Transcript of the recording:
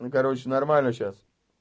ну короче нормально сейчас